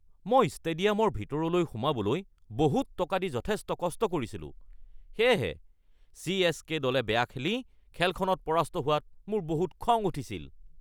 মই ষ্টেডিয়ামৰ ভিতৰলৈ সোমাবলৈ বহুত টকা দি যথেষ্ট কষ্ট কৰিছিলোঁ, সেয়েহে চি.এছ.কে. দলে বেয়া খেলি খেলখনত পৰাস্ত হোৱাত মোৰ বহুত খং উঠিছিল।